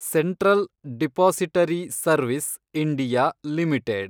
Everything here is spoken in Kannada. central depository service (India) limited